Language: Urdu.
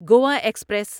گوا ایکسپریس